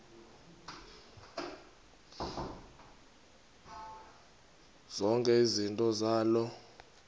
zonke izinto zaloo